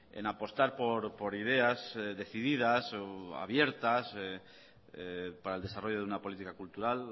en apostar por ideas decididas o abiertas para el desarrollo de una política cultural